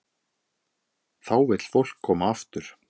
Þá vill fólk koma aftur.